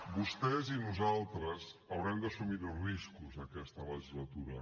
vostès i nosaltres haurem d’assumir riscos aquesta legislatura